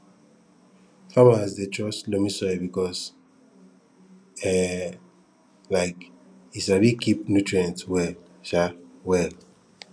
farmers dey trust loamy soil because um um e sabi keep nutrients well um well